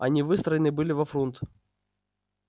они выстроены были во фрунт